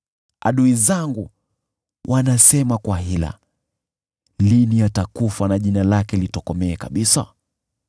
Adui zangu wanasema kwa hila, “Lini atakufa, na jina lake litokomee kabisa.”